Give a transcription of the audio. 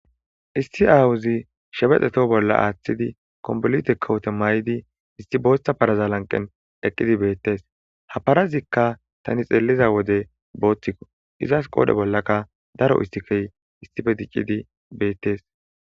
issi awuzi shebexeto bolla aaththidi kombolite kawote may7idi isti booththa paraza lanqen eqqidi beettes ha parazikka tani xeeliza wode booththikko izas qoodhe bollaka daro istikey istife diccidi beettes